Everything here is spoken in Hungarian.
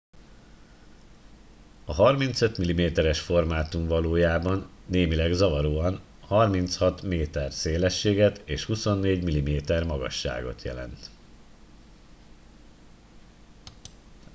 a 35 mm es formátum valójában némileg zavaróan 36 m szélességet és 24 mm magasságot jelent